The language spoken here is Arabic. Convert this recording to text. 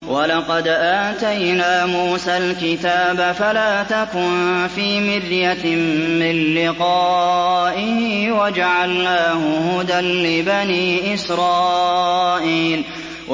وَلَقَدْ آتَيْنَا مُوسَى الْكِتَابَ فَلَا تَكُن فِي مِرْيَةٍ مِّن لِّقَائِهِ ۖ وَجَعَلْنَاهُ هُدًى لِّبَنِي إِسْرَائِيلَ